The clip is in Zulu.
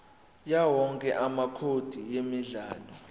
yawowonke amacode emidlalo